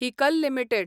Haeckel limited